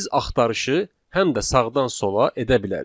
Biz axtarışı həm də sağdan sola edə bilərik.